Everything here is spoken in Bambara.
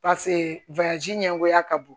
ɲɛngoya ka bon